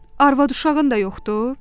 Arvad-uşağın da yoxdur?